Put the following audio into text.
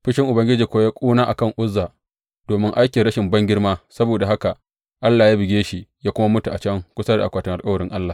Fushin Ubangiji kuwa ya ƙuna a kan Uzza domin aikin rashin bangirma, saboda haka Allah ya buge shi ya kuma mutu a can kusa da akwatin alkawarin Allah.